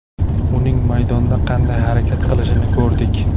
Uning maydonda qanday harakat qilishini ko‘rdik.